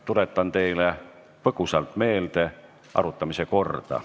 Tuletan teile põgusalt meelde arutamise korda.